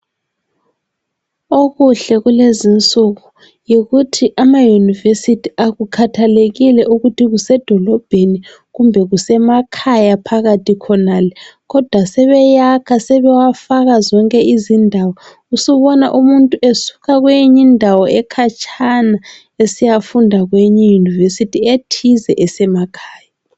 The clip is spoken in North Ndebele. Okuhle kulezi insuku yikuthi amayunivesithi akukhathalekile ukuthi kusedolobheni kumbe kusemakhaya phakathi khonale. Kodwa sebeyakha sebewafaka zonke izindawo. Usubona umuntu esuka kweyinye indawo ekhatshana esiyafunda kweyinye iyunivesithi ethize esemakhaya.